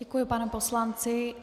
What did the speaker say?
Děkuji panu poslanci.